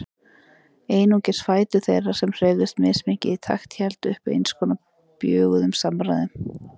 Einungis fætur þeirra, sem hreyfðust mismikið í takt, héldu uppi eins konar bjöguðum samræðum.